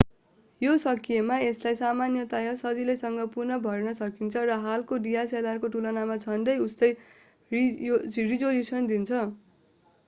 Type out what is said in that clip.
यो सकिएमा यसलाई सामान्यतया सजिलैसँग पुनः भर्न सकिन्छ र हालको dslr को तुलनामा झन्डै उस्तै रिजोल्युसन दिन्छ